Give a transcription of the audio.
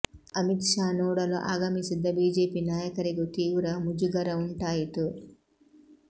ಅಮಿತ್ ಶಾ ನೋಡಲು ಆಗಮಿಸಿದ್ದ ಬಿಜೆಪಿ ನಾಯಕರಿಗೂ ತೀವ್ರ ಮುಜುಗರ ಉಂಟಾಯಿತು